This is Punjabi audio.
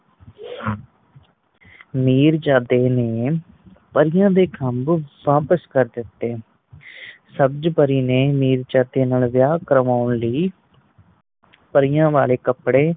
ਮਿਰਜਾਦੇ ਨੇ ਪਰੀਆਂ ਦੇ ਖੱਬ ਵਾਪਿਸ ਕਰ ਦਿੱਤੇ ਸਬਜ ਪਰੀ ਨੇ ਮਿਰਜਾਦੇ ਨਾਲ ਵੇਆਹ ਕਰਵਾਣ ਲਈ ਪਰੀਆਂ ਵਾਲੇ ਕੱਪੜੇ